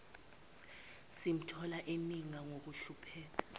simthola eninga ngokuhlupheka